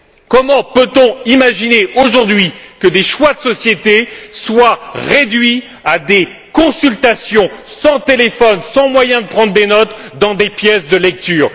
Comment peut on imaginer, aujourd'hui, que des choix de société soient réduits à des consultations sans téléphone, sans moyen de prendre des notes dans des pièces de lecture.